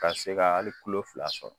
Ka se ka hali tulo fila sɔrɔ